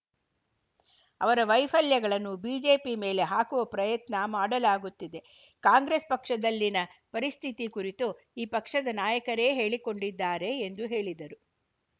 ಅವರ ವೈಫಲ್ಯಗಳನ್ನು ಬಿಜೆಪಿ ಮೇಲೆ ಹಾಕುವ ಪ್ರಯತ್ನ ಮಾಡಲಾಗುತ್ತಿದೆ ಕಾಂಗ್ರೆಸ್‌ ಪಕ್ಷದಲ್ಲಿನ ಪರಿಸ್ಥಿತಿ ಕುರಿತು ಆ ಪಕ್ಷದ ನಾಯಕರೇ ಹೇಳಿಕೊಂಡಿದ್ದಾರೆ ಎಂದು ಹೇಳಿದರು